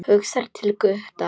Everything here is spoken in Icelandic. Hugsar til Gutta.